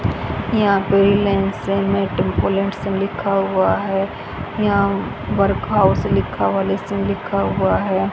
यहां पर Reliance met plots लिखा हुआ है यहा वर्क हाउस लिखा हुआ लीजिंग लिखा हुआ है।